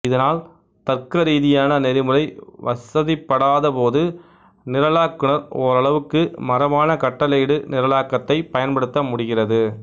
இதனால் தர்க்கரீதியான நெறிமுறை வசதிப்படாத போது நிரலாக்குநர் ஓரளவுக்கு மரபான கட்டளையிடு நிரலாக்கத்தைப் பயன்படுத்த முடிகிறது